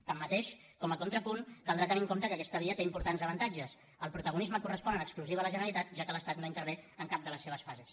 tanmateix com a contrapunt caldrà tenir en compte que aquesta via té importants avantatges el protagonisme correspon en exclusiva a la generalitat ja que l’estat no intervé en cap de les seves fases